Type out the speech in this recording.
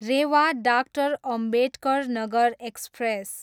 Rewa, doctor Ambedkar Nagar express